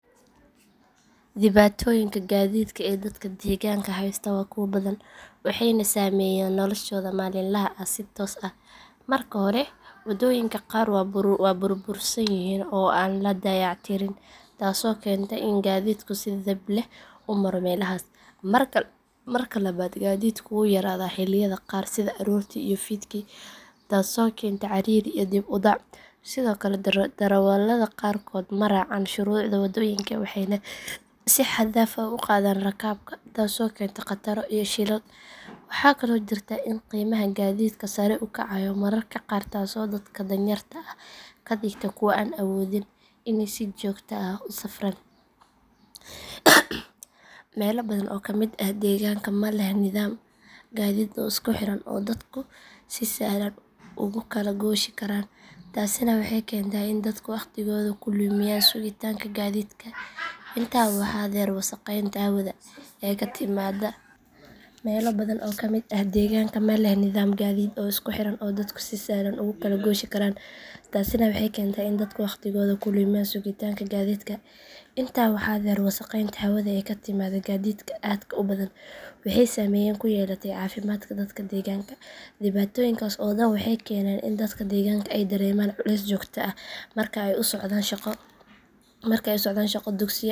Dhibaatooyinka gaadiidka ee dadka deegaanka haysta waa kuwo badan waxayna saameeyaan noloshooda maalinlaha ah si toos ah. Marka hore waddooyinka qaar waa burbursan yihiin oo aan la dayactirin taasoo keenta in gaadiidku si dhib leh u maro meelahaas. Marka labaad gaadiidku wuu yaraadaa xilliyada qaar sida aroortii iyo fiidkii taasoo keenta ciriiri iyo dib u dhac. Sidoo kale darawallada qaarkood ma raacaan shuruucda wadooyinka waxayna si xad dhaaf ah u qaadaan rakaabka taasoo keenta khataro iyo shilal. Waxaa kaloo jirta in qiimaha gaadiidku sare u kacayo mararka qaar taasoo dadka danyarta ah ka dhigta kuwo aan awoodin inay si joogto ah u safraan. Meelo badan oo ka mid ah deegaanka ma leh nidaam gaadiid oo isku xiran oo dadku si sahlan ugu kala gooshi karaan taasina waxay keentaa in dadku waqtigooda ku lumiyaan sugitaanka gaadiidka. Intaa waxaa dheer wasakheynta hawada ee ka timaadda gaadiidka aadka u badan waxay saameyn ku yeelataa caafimaadka dadka deegaanka. Dhibaatooyinkaas oo dhan waxay keeneen in dadka deegaanka ay dareemaan culays joogto ah marka ay u socdaan shaqo.